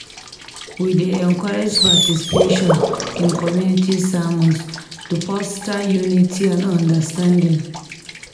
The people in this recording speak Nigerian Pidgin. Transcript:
We dey encourage participation in community sermons to foster unity and understanding.